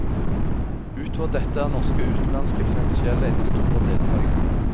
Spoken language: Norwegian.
Utover dette er norske og utenlandske finansielle investorer deltagere.